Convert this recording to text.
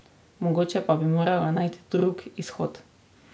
Mogoče pa bi morala najti drug izhod.